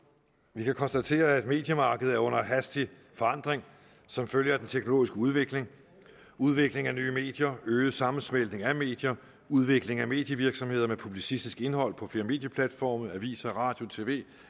vi kan konstatere at mediemarkedet er under hastig forandring som følge af den teknologiske udvikling udvikling af nye medier øget sammensmeltning af medier udvikling af medievirksomheder med publicistisk indhold på flere medieplatforme aviser radio tv